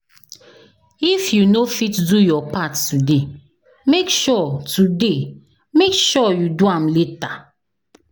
If you no fit do your part today, make sure today, make sure you do am later.